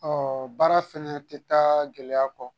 baara fɛnɛ tɛ taa gɛlɛya kɔ